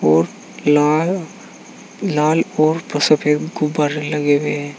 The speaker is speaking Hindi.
और लाल लाल और सफेद गुब्बारे लगे हुए है।